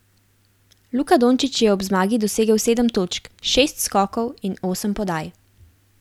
Luka Dončić je ob zmagi dosegel sedem točk, šest skokov in osem podaj.